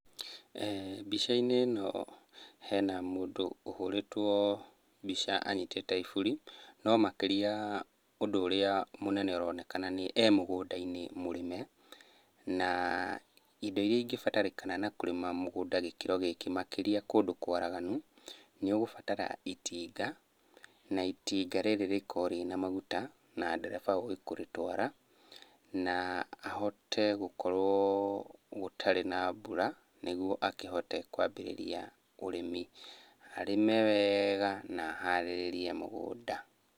Mbica-inĩ ĩno hena mũndũ ũhũrĩtwo mbica anyitĩte iburi, no makĩria ũrĩa mũnene ũronekana nĩ e mũgũnda-inĩ mũrĩme. Na indo iria ingĩbatarĩkana na kũrĩma mũgũnda gĩkĩro gĩkĩ makĩria kũndũ kwaraganu, nĩũgũbatara itinga, na itinga rĩrĩ rĩkorwo rĩrĩ na maguta na ndereba ũĩ kũrĩtwara, na ahote gũkorwo gũtarĩ na mbura nĩguo akĩhote kwambĩrĩria ũrĩmi. Arĩme weega na aharĩrĩrie mũgũnda.